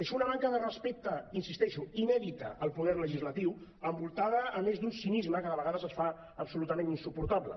és una manca de respecte hi insisteixo inèdita al poder legislatiu envoltada a més d’un cinisme que de vegades es fa absolutament insuportable